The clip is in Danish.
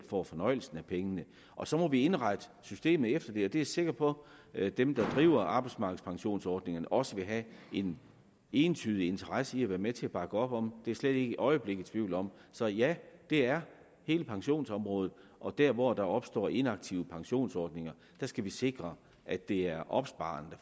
får fornøjelsen af pengene og så må vi indrette systemet efter det og det er jeg sikker på at dem der driver arbejdsmarkedspensionsordningerne også vil have en entydig interesse i at være med til at bakke op om det er jeg slet ikke et øjeblik i tvivl om så ja det er hele pensionsområdet og der hvor der opstår inaktive pensionsordninger skal vi sikre at det er opsparerne